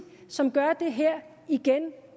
som gør det her igen